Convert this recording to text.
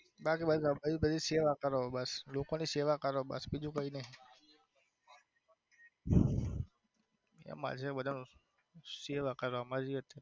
બાકી બીજું સેવા કરો બસ લોકો ની સેવા કરો બસ બીજું કઈ નઈ મારી જેમ બધું નું સેવા કરો